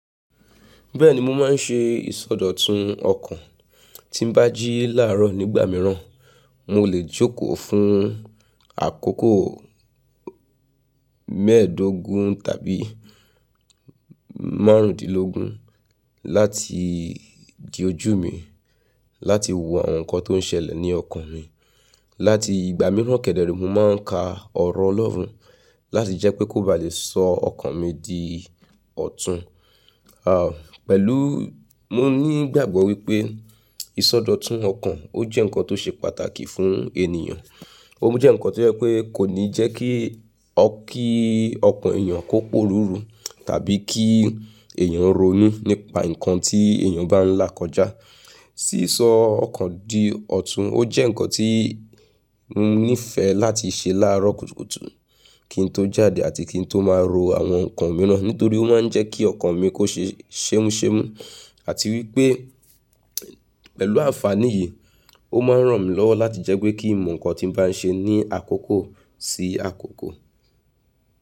Bẹ́ẹ̀ni, mo máa ń ṣe ìsọdọ̀tun ọkàn tí n bá jí láàárọ̀ nígbà mìíràn. Mo lè jókòó fún àkókò mẹ́ẹ̀ẹ́dógún tàbí márùndínlógún láti di ojú mi, láti wo àwọn nǹkan tó ń ṣẹlẹ̀ ní ọkàn mi. Ígbà mìíràn kẹ̀dẹ̀ re, mo máa ń ka ọ̀rọ̀ Ọlọ́run láti jẹ́ pé kó ba lè sọ ọkàn mi di ọ̀tún, pẹ̀lú mo ní ìgbàgbọ́ wípé ìsọdọ̀tun ọkàn ó jẹ́ nǹkan tó ṣe pàtàkì fún ènìyàn. Ó jẹ́ nǹkan tó jẹ́ pé kò ní jẹ́ kí ọkàn èèyàn kó poruru tàbí kí èèyàn ronú nípa nǹkan tí èèyàn bá ń là kọjá. Sísọ ọkàn di ọ̀tún, ó jẹ́ nǹkan tí mo nífẹ̀ láti ṣe láàárọ̀ kùtùkùtù kín n tó jáde àti kín n tó máa ro àwọn nǹkan mìíràn, nítorí ó máa ń jẹ́ kí ọkàn mi kó ṣe ṣẹ́múṣẹ́mú àti wípé pẹ̀lú àǹfàní yìí, ó máa ń ràn mí lọ́wọ́ láti jẹ́ pé kí ń mọ nǹkan tí ń bá ń ṣe ní àkókò sí àkókò.